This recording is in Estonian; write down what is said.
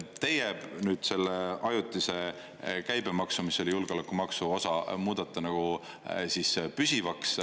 Teie selle ajutise käibemaksu, mis oli julgeolekumaksu osa, muudate nagu püsivaks.